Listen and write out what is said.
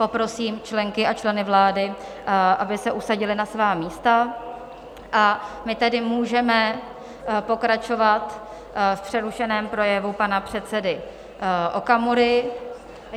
Poprosím členky a členy vlády, aby se usadili na svá místa, a my tedy můžeme pokračovat v přerušeném projevu pana předsedy Okamury.